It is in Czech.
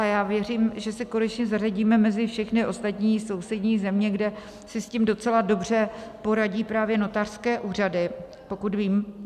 A já věřím, že se konečně zařadíme mezi všechny ostatní sousední země, kde si s tím docela dobře poradí právě notářské úřady, pokud vím.